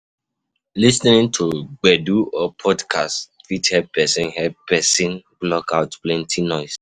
Lis ten ing to gbedu or podcast fit help person help person block out plenty noise